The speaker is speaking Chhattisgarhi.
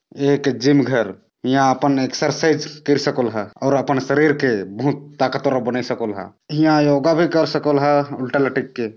एक जिम घर यहाँ अपन एक्सरसाइज कर सकोल ह और अपन शरीर के बहुत ताकतवर बनाय सकोल ह इहां योगा भी कर सकोल ह उल्टा लटक के।